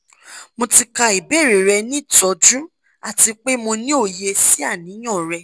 mo ti ka ibeere rẹ ni tọju ati pe mo ni oye si aniyan rẹ